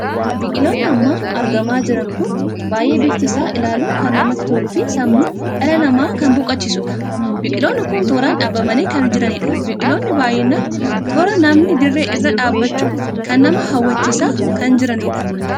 Biqiloonni amma argamaa jiran kun baay'ee bifti isaa ilaaluun kan namatti toluu fi sammuu dhala namaa kan boqochisuudha. Biqiloon kun toraan dhaabamanii kan jiraniidha. biqiloonni baay'inaan toora nammanii dirree irra dhabbachuun kan nama hawwachiisaa kan jirudha.